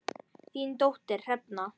Þín dóttir Hrefna.